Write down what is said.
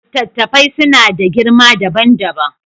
Littattafai suna da girma dabam dabam.